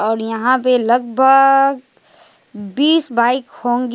और यहां पे लगभग बीस बाइक होगी।